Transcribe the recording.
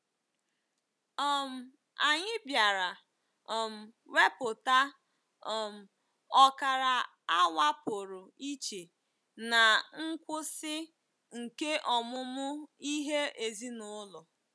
um Anyị bịara um wepụta um ọkara awa pụrụ iche ná ngwụsị nke ọmụmụ ihe ezinụlọ.